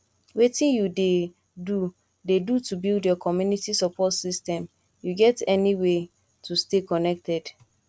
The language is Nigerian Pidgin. wetin you dey do dey do to build your community support system you get any way tostay connected